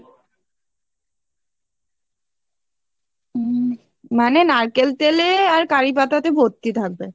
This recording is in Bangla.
উম মানে নারকেল তেলে আর কারিপাতা তে ভর্তি থাকে